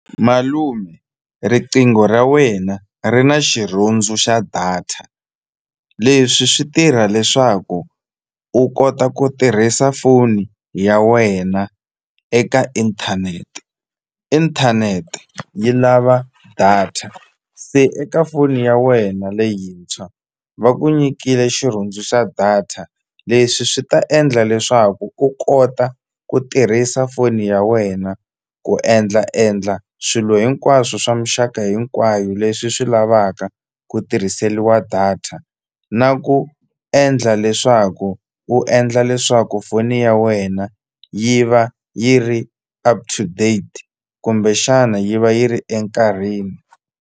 Malume riqingho ra wena ri na xirhundzu xa data leswi swi tirha leswaku u kota ku tirhisa foni ya wena eka inthanete, inthanete yi lava data se eka foni ya wena leyintshwa va ku nyikile xirhundzu xa data leswi swi ta endla leswaku ku kota ku tirhisa foni ya wena ku endla endla swilo hinkwaswo swa muxaka hinkwayo leswi swi lavaka ku tirhiseliwa data na ku endla leswaku u endla leswaku foni ya wena yi va yi ri up to date kumbexana yi va yi ri enkarhini.